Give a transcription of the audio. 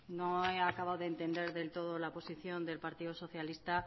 no he acabado de entender del todo la posición del partido socialista